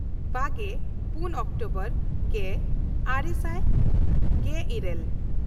ᱵᱟᱜᱮᱼᱯᱩᱱ October ᱜᱮᱼᱟᱨᱮ ᱥᱟᱭ ᱜᱮᱼᱤᱨᱟᱹᱞ